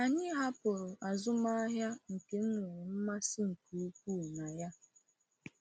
Anyị hapụrụ azụmahịa nke m nwere mmasị nke ukwuu na ya.